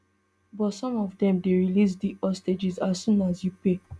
but some of dem dey release di hostages as soon as you pay